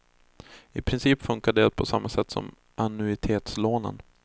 I princip fungerar det på samma sätt som annuitetslånen.